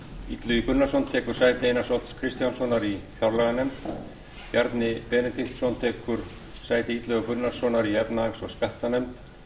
illugi gunnarsson tekur sæti einars odds kristjánssonar í fjárlaganefnd bjarni benediktsson tekur sæti illuga gunnarssonar í efnahags og skattanefnd